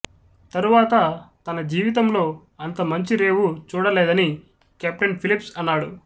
తరువాత తన జీవితంలో అంత మంచి రేవు చూడలేదని కెప్టెన్ ఫిలిప్స్ అన్నాడు